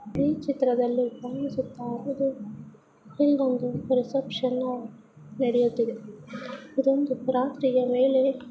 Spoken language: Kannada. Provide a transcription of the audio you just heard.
ಈ ಚಿತ್ರದಲ್ಲಿ ಕಾಣಿಸುತ್ತ ಇರುವುದು ಇಲ್ಲಿ ಒಂದು ರಿಸೆಪ್ಷನ್ ನಡೆಯುತ್ತಿದೆ --